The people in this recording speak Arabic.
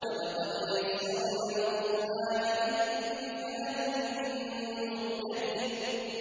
وَلَقَدْ يَسَّرْنَا الْقُرْآنَ لِلذِّكْرِ فَهَلْ مِن مُّدَّكِرٍ